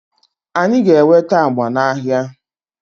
anyị ga-enweta agba n'ahịa